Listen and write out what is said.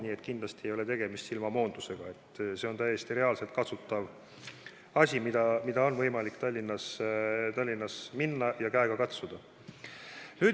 Nii et kindlasti ei ole tegemist silmamoondusega, see on täiesti reaalselt kasutatav lahendus ja Tallinnas on võimalik neid hooneid käega katsuda.